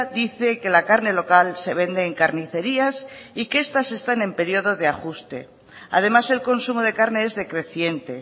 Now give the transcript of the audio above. dice que la carne local se vende en carnicerías y que estas están en periodo de ajuste además el consumo de carne es decreciente